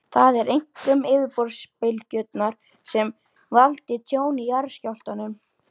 Það eru einkum yfirborðsbylgjurnar sem valda tjóni í jarðskjálftum.